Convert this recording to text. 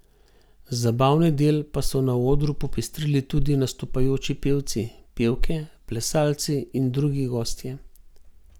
Zabavni del pa so na odru popestrili tudi nastopajoči pevci, pevke, plesalci in drugi gostje.